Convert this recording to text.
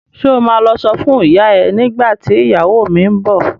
Ṣo ma lọ sọ fún ìyá ẹ nígbà tí ìyàwó mi ń bọ̀?